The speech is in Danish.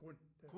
Kun der